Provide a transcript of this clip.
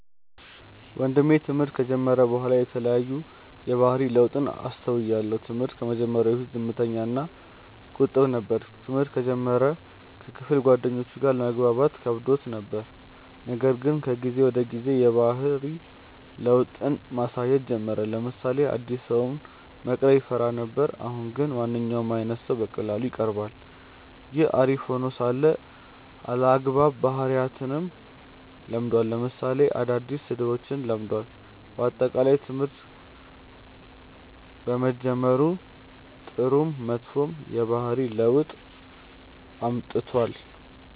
ወንድሜ ትምህርት ከጀመረ በኋላ የተለያዩ የባህሪ ለውጥን አስተውያለው። ትምህርት ከመጀመሩ በፊት ዝምተኛ እና ቁጥብ ነበር። ትምህርተ እንደጀመረ ከክፍል ጓደኞቹም ጋር ለመግባባት ከብዶት ነበር :ነገር ግን ከጊዜ ወደ ጊዜ የባህሪ ለውጥን ማሳየት ጀመረ : ለምሳሌ አዲስ ሰውን መቅረብ ይፈራ ነበር አሁን ግን ማንኛውም አይነት ሰው በቀላሉ ይቀርባል። ይህ አሪፍ ሄኖ ሳለ አልአግባብ ባህሪያትንም ለምዷል ለምሳሌ አዳዲስ ስድቦችን ለምዷል። በአጠቃላይ ትምህርት በመጀመሩ ጥሩም መጥፎም የባህሪ ለውጥ አምጥቷል።